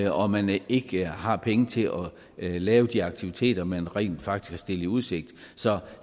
og man ikke har haft penge til at lave de aktiviteter man rent faktisk i udsigt så